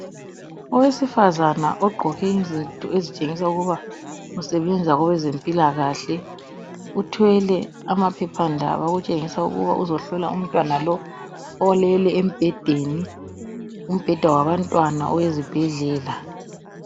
Owesifazana ogqoke izinto ezitshengisa ukuba usebenza kwabazempilakahle uthwele amaphephandaba okutshengisa ukuthi uzohlola umtwana lo olele embhedeni, umbheda wabantwana owezibhedlela.